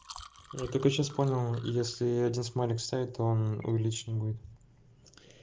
я только сейчас понял если один смайлик стоит то он увеличил не будет